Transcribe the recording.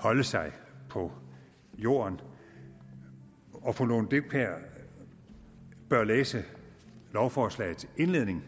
holde sig på jorden og at fru lone dybkjær bør læse lovforslagets indledning